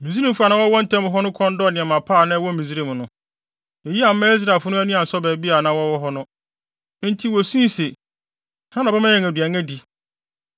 Misraimfo a na wɔwɔ wɔn ntam no kɔn dɔɔ nneɛma pa a na ɛwɔ Misraim no. Eyi amma Israelfo no ani ansɔ baabi a na wɔwɔ hɔ no, enti wosui se, “Hena na ɔbɛma yɛn aduan adi?